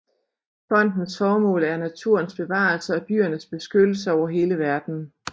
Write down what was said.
Fondens formål er naturens bevarelse og dyrenes beskyttelse over hele verden